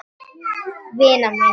Vina mín!